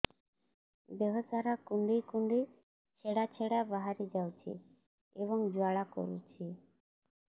ଦେହ ସାରା କୁଣ୍ଡେଇ କୁଣ୍ଡେଇ ଛେଡ଼ା ଛେଡ଼ା ବାହାରି ଯାଉଛି ଏବଂ ଜ୍ୱାଳା କରୁଛି